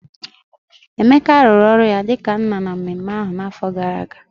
Emeka rụrụ ọrụ ya dị ka nna na mmemme ahụ n'afọ gara aga